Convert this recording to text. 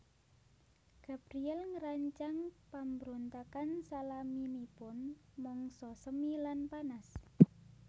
Gabriel ngrancang pambrontakan salaminipun mangsa semi lan panas